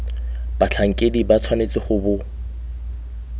batlhankedi ba tshwanetse go bo